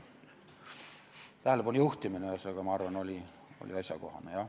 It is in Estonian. Tähelepanu juhtimine, ma arvan, oli asjakohane, jah.